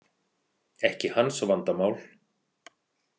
Ekki hans vandamál.